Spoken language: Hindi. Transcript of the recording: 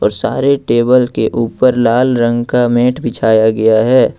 सारे टेबल के ऊपर लाल रंग का मैट बिछाया गया है।